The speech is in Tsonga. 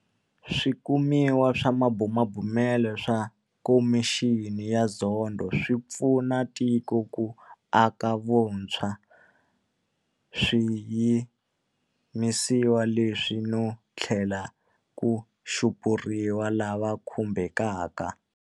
Swikumiwa na swibumabumelo swa Khomixini ya Zondo swi ta pfuna tiko ku aka hi vuntshwa swiyimisiwa leswi no tlhela ku xupuriwa lava khumbekaka.